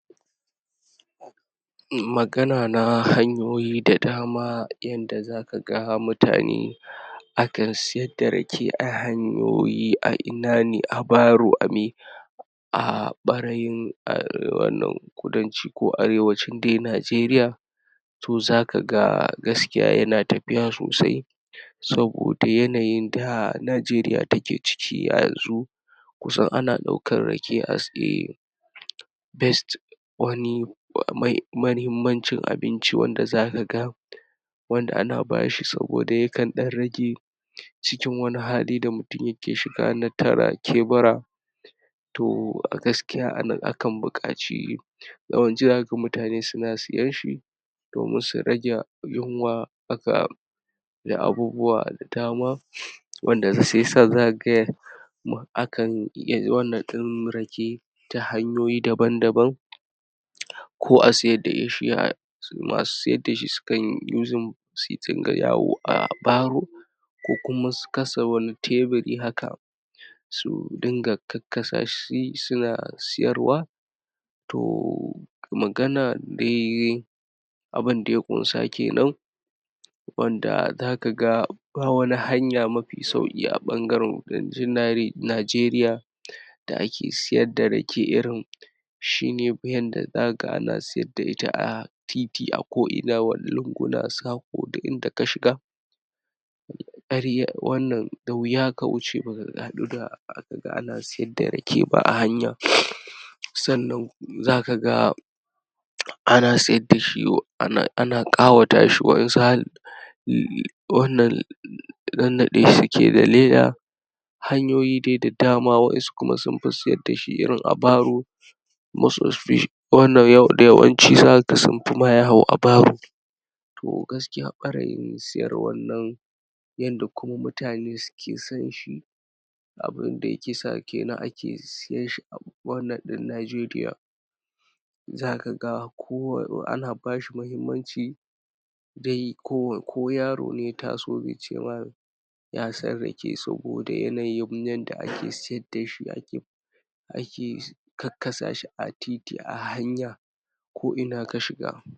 Magana na hanyoyi da dama yanda za ka ga mutane akan siya da rake a hanyoyi a ina ne a baro a me, a ɓarayin uh wannan kudanci ko arewacin dai Najeriya to za ka ga gaskiya yana tafiya sosai saboda yanayin da Najeriya take ciki a yanzu kusan ana daukan rake as a best wani mahimmancin abinci wanda za ka ga wanda ana ba shi saboda ya kan dan rage cikin wani hali da mutum ya ke shiga na tara kebura, toh a gaskiya a nan a kan buƙaci yawwanci za ka ga mutane suna siyan shi domin su rage yunwa da abubu wa da dama wanda sai sa za ka ga akan yi wannan din rake ta hanyoyi daban daban ko a siyar da shi [aa] su masu siyar da shi su kan using su dinga yawo a baro ko kuma su kasa wani taburi haka su dinga kakkasa shi suna siyarwa to magana dai abun da ya kunsa kenan wanda za ka ga ba wani hanya mafi sauki a bangaren Najeriya da ake siyar da rake irin shine yanda za ka ga ana siyar da ita a titi a ko ina wani lungu na saƙo duk inada ka shiga wannan da wiya ka wuce baka haɗu da ka ga ana siyar da rake ba a hanya. Sannan za ka ga ana siyar da shi ana kawata shi wa ensu har wannan nannaɗe shi suke da leda hanyoyi dai dama wa ensu su kuma sun dai fi siyar da shi irin a baro most wanda yau da yawanci za ka ga sun fi ma yawo a baro, to gaskiya ɓarayin siyarwan nan yanda kuma mutane suke san shi abun da yake sa kenan ake siyan shi a wannan ɗin Najeriya, za ka ga ana ba shi mahimmanci dai ko ko yaro ne ya taso zai ce ma ya san rake saboda yanayin yanda ake siyar da shi ake ake kakkasa shi a titi a hanya ko ina ka shiga.